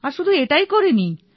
আর শুধু এটাই করিনি